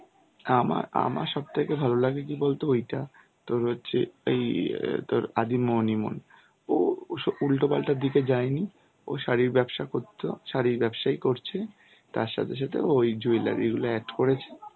আমার~ আমার সব থেকে ভালো লাগে কি বলতো ওইটা তোর হচ্ছে এই অ্যাঁ তোর আদি মোহিনী মোহন ও~ ওসব উল্টোপাল্টা দিকে যায়নি ও শাড়ির ব্যবসা করতো শাড়ির ব্যবসাই করছে তার সাথে সাথে ওই jewellery গুলো add করেছে.